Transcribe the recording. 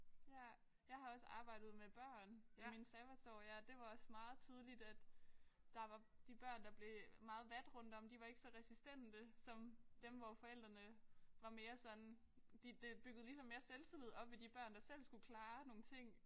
Ja. Jeg har også arbejdet med børn i mine sabbatår ja det var også meget tydeligt at der var de børn der blev meget vat rundt om de var ikke så resistente som dem hvor forældrene var mere sådan de det byggede ligesom mere selvtillid op i de børn der selv skulle klare nogle ting